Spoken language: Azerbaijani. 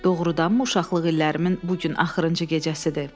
Doğrudanmı uşaqlıq illərimin bu gün axırıncı gecəsidir?